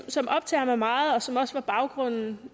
som optager mig meget og som også var baggrunden